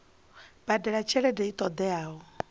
badela tshelede i ṱo ḓeaho